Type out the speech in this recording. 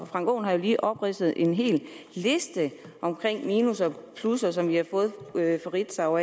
frank aaen har jo lige opridset en hel liste minusser og plusser som de har fået fra ritzau